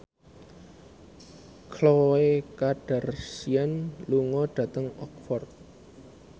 Khloe Kardashian lunga dhateng Oxford